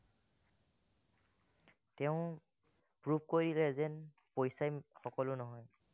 তেওঁ prove কৰিলে যেন পইচাই সলো নহয়।